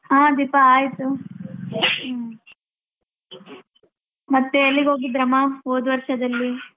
ಹ ದೀಪಾ ಆಯ್ತು ಮತ್ತೆ ಎಲ್ಲಿಗೋಗಿದಮ್ಮ ಹೋದವರ್ಷದಲ್ಲಿ.